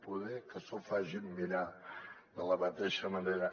poder que s’ho facin mirar de la mateixa manera